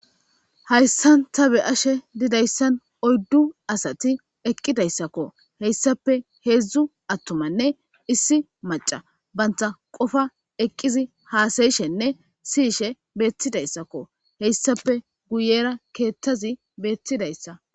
Hayssan ta be'ashe didayissan oyddu asati eqqidayssakko heyssappe hedzdzu attumanne issi macca bantta qopa eqqizi hassa'ishenne siyishshe bettidayisakko heyssappe guyera keththezi bettizayisa.